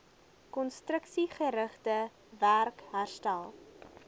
konstruksiegerigte werk herstel